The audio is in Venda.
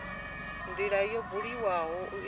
ndila yo buliwaho u itela